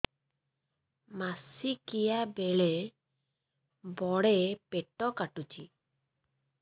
ମାସିକିଆ ବେଳେ ବଡେ ପେଟ କାଟୁଚି